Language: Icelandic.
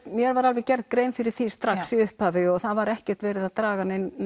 mér var alveg gerð grein fyrir því strax í upphafi og það var ekki verið að draga neina